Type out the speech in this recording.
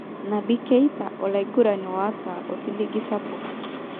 Naby Keita:Olaigurani ota osiligi sapuk.